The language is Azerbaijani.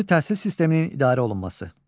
Xüsusi təhsil sisteminin idarə olunması.